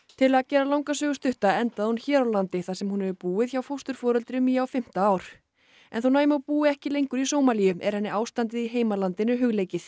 til að gera langa sögu stutta endaði hún hér á landi þar sem hún hefur búið hjá fósturforeldrum í á fimmta ár en þótt búi ekki lengur í Sómalíu er henni ástandið í heimalandinu hugleikið